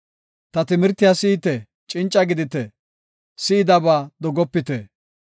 Ta timirtiya si7ite; cinca gidite; si7idaba dogopite.